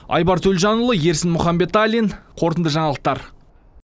айбар төлжанұлы ерсін мұханбеталин қорытынды жаңалықтар